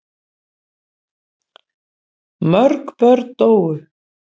Mörg börn dóu.